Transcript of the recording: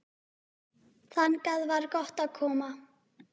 Þangað var gott að koma.